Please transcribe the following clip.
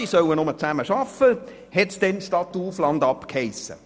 Sie sollen zusammenarbeiten, hiess es damals überall.